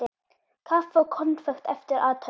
Kaffi og konfekt eftir athöfn.